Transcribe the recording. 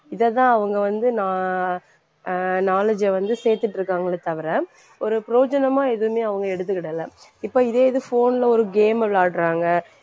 இதைத்தான் அவங்க வந்து நான் அஹ் knowledge அ வந்து சேர்த்துட்டிருக்காங்களே தவிர ஒரு பிரயோஜனமா எதுமே அவங்க எடுத்துக்கிடலை. இப்ப இதே இது phone ல ஒரு game விளையாடுறாங்க.